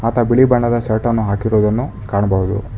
ಆತ ಬಿಳಿ ಬಣ್ಣದ ಶರ್ಟ್ ಅನ್ನು ಹಾಕಿರುವುದನ್ನು ಕಾಣಬಹುದು.